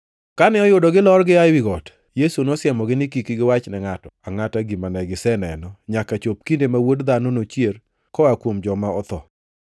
Kane oyudo gilor gia ewi got, Yesu nosiemogi ni kik giwachne ngʼato angʼata gima ne giseneno nyaka chop kinde ma Wuod Dhano nochier koa kuom joma otho.